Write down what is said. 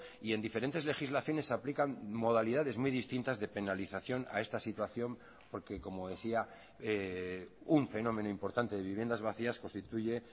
y en diferentes legislaciones se aplican modalidades muy distintas de penalización a esta situación porque como decía un fenómeno importante de viviendas vacías constituye